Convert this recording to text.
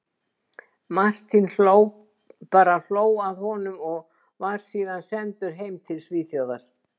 Martin bara hló að honum, og var síðan sendur heim til Svíþjóðar.